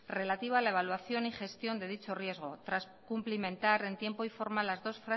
relativa a la evolución y gestión de dicho riesgo tras cumplimentar en tiempo y en forma las dos